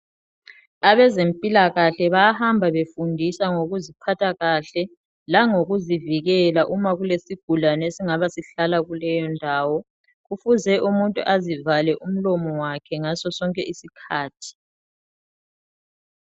Abezempilakahle bayahamba befundisa ngokuziphatha kahle langokuzivikela uma kulesigulane esingabe sihlala kuleyo ndawo. Kufuze umuntu azivale umlomo wakhe ngaso sonke isikhathi.